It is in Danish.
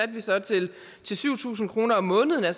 til syv tusind kroner om måneden det